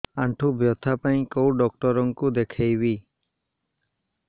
ଆଣ୍ଠୁ ବ୍ୟଥା ପାଇଁ କୋଉ ଡକ୍ଟର ଙ୍କୁ ଦେଖେଇବି